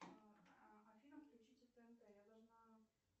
афина включите тнт я должна